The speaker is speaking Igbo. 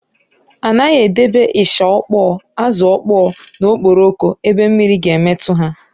A naghị edebe ịsha ọkpọọ, ázụ̀ ọkpọọ na okporoko ebe mmiri ga-emetụ ha.